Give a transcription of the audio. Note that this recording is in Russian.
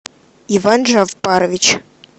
иван джавпарович